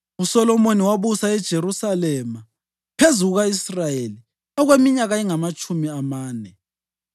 USolomoni wabusa eJerusalema phezu kuka-Israyeli okweminyaka engamatshumi amane.